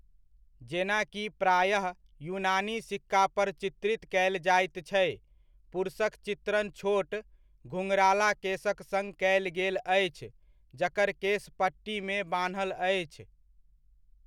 जेना कि प्रायः यूनानी सिक्कापर चित्रित कयल जाइत छै, पुरुषक चित्रण छोट, घुंघराला केसक सङ्ग कयल गेल अछि, जकर केस पट्टीमे बान्हल अछि।